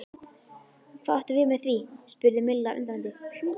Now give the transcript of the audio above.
Hvað áttu við með því? spurði Milla undrandi?